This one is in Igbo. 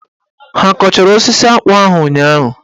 Ha kọchara osisi akpụ ahụ ụnyaahụ?